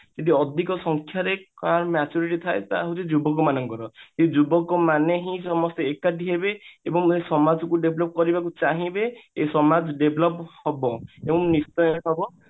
ଯଦି ଅଧିକ ସଂଖ୍ୟା ରେ କାହାର maturity ଥାଏ ସେଟା ହଉଛି ଯୁବକ ମାନଙ୍କର ଏଇ ଯୁବକ ମାନେ ହିଁ ସମସ୍ତେ ଏକାଠି ହେବେ ଏବଂ ଏଇ ସମାଜକୁ develop କରିବା ପାଇଁ ଚାହିଁବେ ଏଇ ସମାଜ develop ହବ ଏବଂ